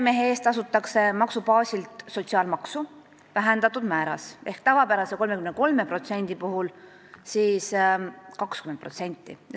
Maksubaasilt tasutakse meremehe eest sotsiaalmaksu vähendatud määras ehk tavapärase 33% asemel 20%.